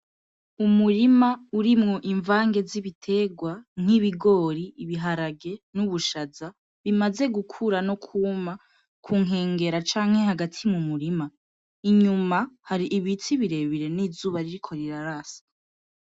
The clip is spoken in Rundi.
Umurima urimwo ivange z'ibiterwa: nk'ibigori, ibiharage n'ubushaza bimaze gukura no kuma ku nkengera canke hagati mu murima, inyuma har'ibiti birebire n'izuba ririko rirasa.